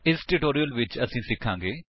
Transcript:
ਇਸ ਟਿਊਟੋਰਿਅਲ ਵਿੱਚ ਅਸੀ ਸਿਖਾਂਗੇ